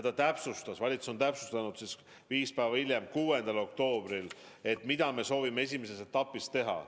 Ja viis päeva hiljem, 6. oktoobril on valitsus täpsustanud, mida me soovime esimeses etapis teha.